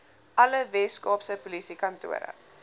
alle weskaapse polisiekantore